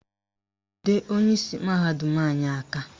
Jide onyeisi mahadum anyị aka!